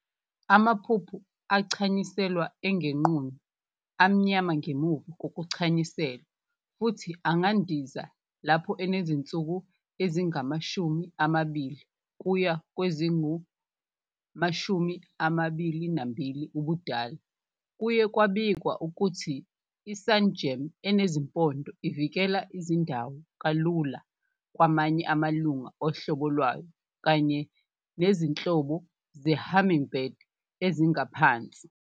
Amaphuphu achanyiselwa engenqunu, amnyama ngemuva kokuchanyuselwa, futhi angandiza lapho esenezinsuku ezingama-20 kuya kwezingu-22 ubudala. Kuye kwabikwa ukuthi i-sungem enezimpondo ivikela izindawo kalula kwamanye amalunga ohlobo lwayo kanye nezinhlobo ze-hummingbird ezingaphansi.